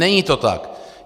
Není to tak.